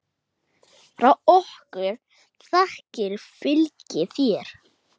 Frá okkur þakkir fylgi þér.